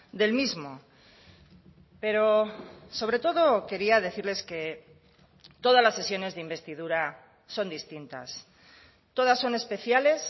del mismo pero sobre todo quería decirles que todas las sesiones de investidura son distintas todas son especiales